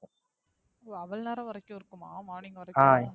ஓ அவளோ நேரம் வரைக்கும் இருக்குமா? morning வரைக்கும்